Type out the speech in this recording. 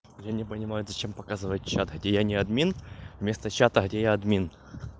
я не понимаю зачем показывать чат где я не админ вместо чата где я админ